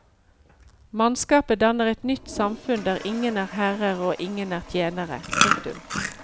Mannskapet danner et nytt samfunn der ingen er herrer og ingen er tjenere. punktum